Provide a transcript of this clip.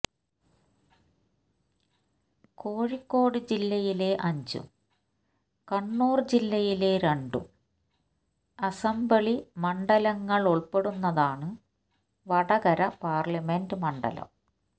കോഴിക്കോട് ജില്ലയിലെ അഞ്ചും കണ്ണൂർ ജില്ലയിലെ രണ്ടും അസംബ്ലി മണ്ഡലങ്ങളുൾപ്പെടുന്നതാണ് വടകര പാർലമെന്റ് മണ്ഡലം